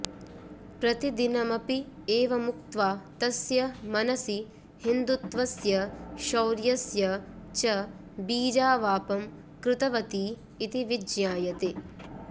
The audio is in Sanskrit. प्रतिदिनमपि एवमुक्त्वा तस्य मनसि हिन्दुत्वस्य शौर्यस्य च बीजावापं कृतवती इति विज्ञायते